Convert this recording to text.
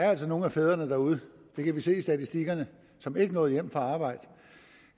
er nogle af fædrene derude det kan vi se i statistikkerne som ikke nåede hjem fra arbejde